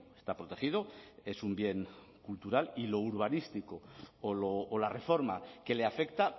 está protegido es un bien cultural y lo urbanístico o la reforma que le afecta